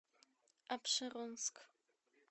апшеронск